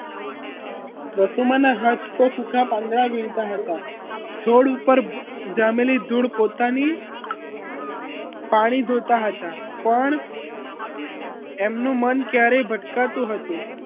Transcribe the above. વસુમાના હાથ તો સુખા પાંદડા વીણતા હતા છોડ ઉપર જામેલી ધૂળ પોતાની પાણી ધોતા હતા પણ એમનું મન ક્યારેય ભટકાતું હતું